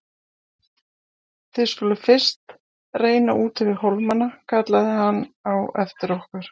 Þið skuluð fyrst reyna úti við hólmana kallaði hann á eftir okkur.